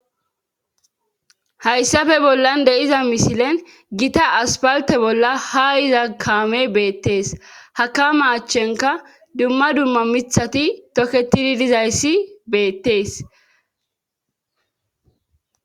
hayssafe bollan de7iza misilen gita aspalte bolla ha iza kaame beettees hakama achchenka dumma dumma mithati tokketidi dizayssi beettees